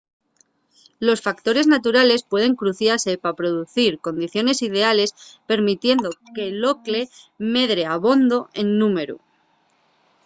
los factores naturales pueden cruciase pa producir condiciones ideales permitiendo que l’ocle medre abondo en númberu